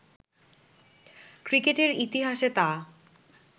ক্রিকেটের ইতিহাসে তা